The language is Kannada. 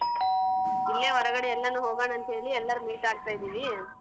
ಇಲ್ಲೇ ಹೊರಗಡೆ ಎಲ್ಲಾನು ಹೋಗಣ ಅಂತ್ ಹೇಳಿ ಎಲ್ಲರೂ meet ಆಗ್ತಾ ಇದೀವಿ.